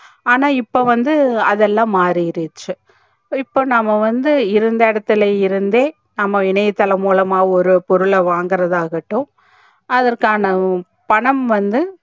ஆனா இப்போ வந்து அதுலா மாறிடுச்சி இப்போ நம்ப வந்து இருந்த இடத்துல இருந்தே நம்ப இணையதளம் மூலமா ஒரு பொருள வாங்கர்தா ஆகட்டும் அதர் காண பணம் வந்து